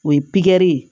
O ye pikiri ye